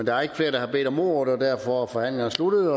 er ikke flere der har bedt om ordet og derfor er forhandlingerne sluttet